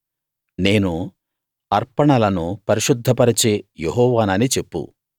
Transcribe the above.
నేను అర్పణలను పరిశుద్ధ పరచే యెహోవానని చెప్పు